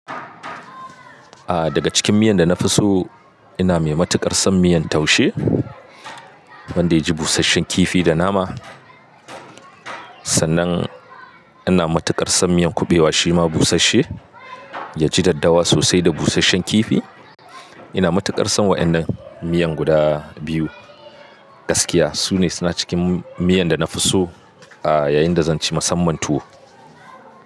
Ah daga cikin miyan da na fi so ina mai matuƙar son miyan taushe wanda ya ji busasshen kifi da nama. Sannan ina matuƙar son miyan kuɓewa shima busashshe ya ji daddawa sosai da busasshen kifi. Ina matuƙar son waɗannan miyan guda biyu. Gaskiya su ne suna cikin miyan da na fi so a yayin da zan ci musamman tuwo.